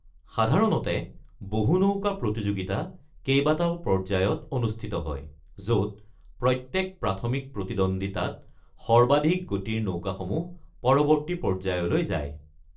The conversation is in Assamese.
সাধাৰণতে বহু-নৌকা প্ৰতিযোগিতা কেইবাটাও পৰ্যায়ত অনুষ্ঠিত হয়, য’ত প্ৰত্যেক প্ৰাথমিক প্ৰতিদ্বন্দিতাত সৰ্বাধিক গতিৰ নৌকাসমূহ পৰৱৰ্তী পৰ্যায়লৈ যোৱা হয়।